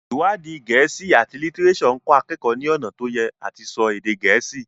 iwadi Gèésì at litireso nkọ akeko ní ọnà to Ye àti so èdè gèésì.